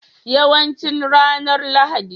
Yawancin ranar Lahadi.